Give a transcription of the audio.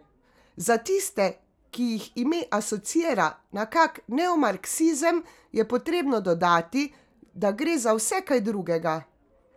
Za tiste, ki jih ime asociira na kak neomarksizem, je potrebno dodati, da gre za vse kaj drugega.